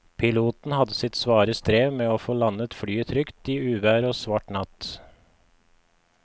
Piloten hadde sitt svare strev med å få landet flyet i uvær og svart natt.